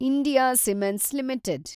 India cements limited